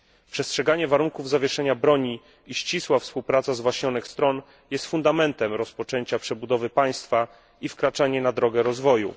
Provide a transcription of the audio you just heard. Przestrzeganie warunków zawieszenia broni i ścisła współpraca zwaśnionych stron jest fundamentem rozpoczęcia przebudowy państwa i wkraczania na drogę rozwoju.